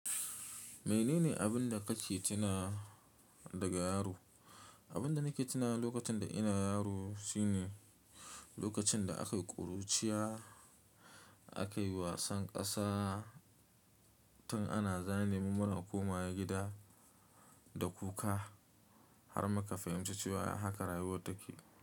Menene abin da kake tunawa daga yaro? Abin da nake tuna lokacin da ina yaro shine lokacin da akayi ƙuruciya, akayi wasan ƙasa tun ana zane mu muna komawa gida da kuka har muka fahimci cewa haka rayuwa take.